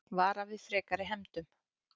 Vara við frekari hefndum